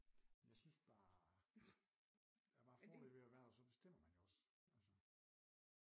Jeg synes bare der er bare fordel ved at værter så bestemmer man jo også altså